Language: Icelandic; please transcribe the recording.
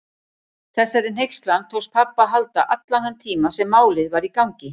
Þessari hneykslan tókst pabba að halda allan þann tíma sem Málið var í gangi.